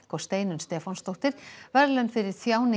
og Steinunn Stefánsdóttir verðlaun fyrir